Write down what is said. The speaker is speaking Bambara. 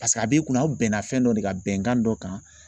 Paseke a b'i kunna aw bɛnna fɛn dɔ de ka bɛnkan dɔ kan